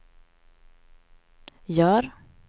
gör